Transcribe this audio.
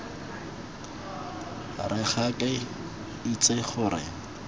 re ga ke itse gore